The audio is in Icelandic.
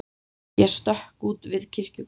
Ég stökk út við kirkjugarðinn.